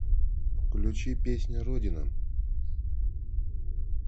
включи песня родина